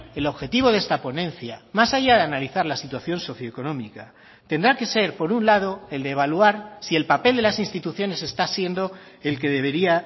el objetivo de esta ponencia más allá de analizar la situación socioeconómica tendrá que ser por un lado el de evaluar si el papel de las instituciones está siendo el que debería